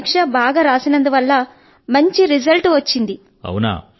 కానీ పరీక్ష బాగా వ్రాసినందువల్ల మంచి ఫలితం వచ్చింది